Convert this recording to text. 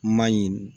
Ma ɲi